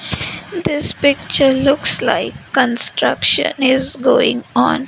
this picture looks like construction is going on.